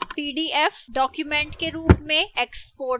pdf document के रूप में export करना